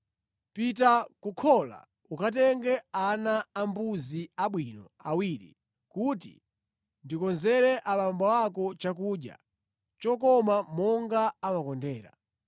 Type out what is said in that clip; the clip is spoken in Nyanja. Pita ku khola, ukatenge ana ambuzi abwino awiri, kuti ndikonzere abambo ako chakudya chokoma monga amakondera.